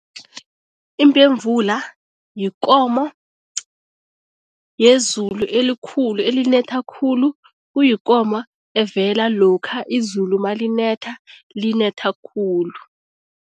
Imbemvula yikomo yezulu elikhulu elinetha khulu, kuyikomo evela lokha izulu malinetha, linetha khulu.